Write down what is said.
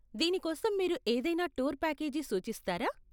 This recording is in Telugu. దీనికోసం మీరు ఏదైనా టూర్ ప్యాకేజీ సూచిస్తారా?